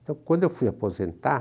Então, quando eu fui aposentar,